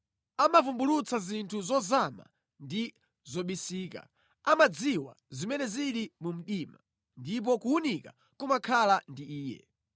Amavumbulutsa zinthu zozama ndi zobisika; amadziwa zimene zili mu mdima, ndipo kuwunika kumakhala ndi Iye.